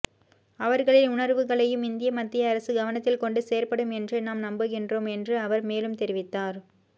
அவர்களின் உணர்வுகளையும் இந்திய மத்திய அரசு கவனத்தில் கொண்டு செயற்படும் என்றே நாம் நம்புகின்றோம் என்று அவர் மேலும் தெரிவித்தார்